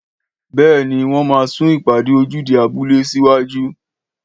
Béèni wọ́n ma sun ìpàdé ojúde abúlé síwájú